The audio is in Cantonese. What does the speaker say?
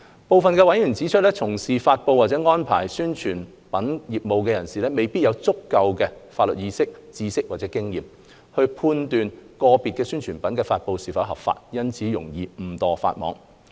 部分委員提出，從事發布或安排發布宣傳品業務的人士未必有足夠法律意識、知識或經驗，判斷個別宣傳品的發布是否合法，因此容易誤墮法網。